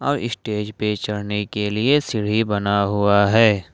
और स्टेज पे चढ़ने के लिए सीढ़ी बना हुआ है।